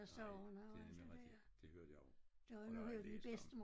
Nej det nemlig rigtigt det hørte jeg om og det har jeg læst om